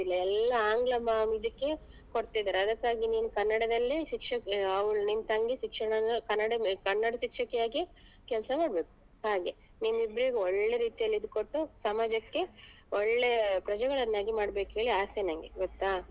ಎಲ್ಲ ಆಂಗ್ಲ ಮಾಧ್ಯಮಕ್ಕೆ ಕೊಡ್ತಿದ್ರು ಅದಕ್ಕಾಗಿ ನೀನ್ ಕನ್ನಡದಲ್ಲೇ ಶಿಕ್ಷಕಿ ಅವಳು ನಿನ್ ತಂಗಿ ಶಿಕ್ಷಣವನ್ನು ಕನ್ನಡ ಕನ್ನಡ ಶಿಕ್ಷಕಿ ಆಗಿಯೇ ಕೆಲ್ಸ ಮಾಡ್ಬೇಕು ಹಾಗೆ ನಿಮ್ ಇಬ್ರಿಗೂ ಒಳ್ಳೆ ರೀತಿಯಲ್ಲಿ ಇದು ಕೊಟ್ಟು ಸಮಾಜಕ್ಕೆ ಒಳ್ಳೆ ಪ್ರಜೆಗಳನ್ನಾಗಿ ಮಾಡ್ಬೇಕು ಅಂತ ಆಸೆ ನಂಗೆ ಗೊತ್ತಾ.